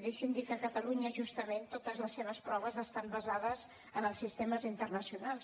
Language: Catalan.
i deixi’m dir que a catalunya justament totes les seves proves estan basades en els sistemes internacionals